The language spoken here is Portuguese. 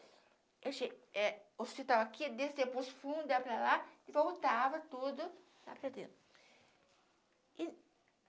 A gente, é o hospital aqui, eu descia para o fundo, ia para lá e voltava tudo lá para dentro. E